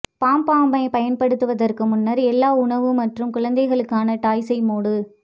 பப் பாம்பைப் பயன்படுத்துவதற்கு முன்னர் எல்லா உணவு மற்றும் குழந்தைகளுக்கான டாய்ஸை மூடு